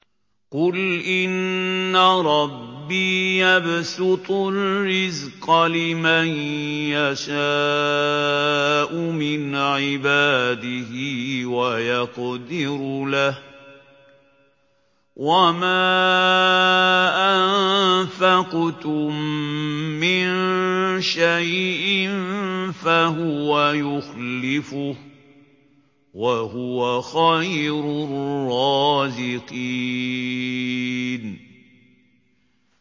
قُلْ إِنَّ رَبِّي يَبْسُطُ الرِّزْقَ لِمَن يَشَاءُ مِنْ عِبَادِهِ وَيَقْدِرُ لَهُ ۚ وَمَا أَنفَقْتُم مِّن شَيْءٍ فَهُوَ يُخْلِفُهُ ۖ وَهُوَ خَيْرُ الرَّازِقِينَ